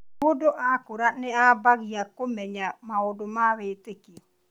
Mũndũ akũra nĩ aambagia kũmenya maũndũ ma wĩtĩkio